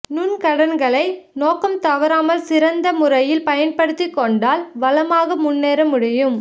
நுண்கடன்களை நோக்கம் தவறாமல் சிறந்த முறையில் பயன்படுத்திக் கொண்டால் வளமாக முன்னேற முடியும்